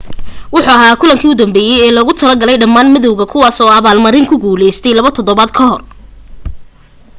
wuxu ahaa kulankii u dambeeyay ee loogu talo galay dhammaan madawga kuwaas oo abaal marin ku guulaystay laba todobaad ka hor